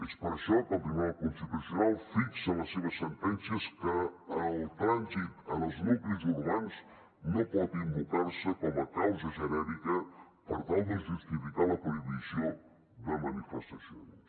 és per això que el tribunal constitucional fixa en les seves sentències que el trànsit en els nuclis urbans no pot invocar se com a causa genèrica per tal de justificar la prohibició de manifestacions